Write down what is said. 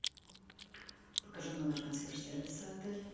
покажи номер консьерж сервиса отеля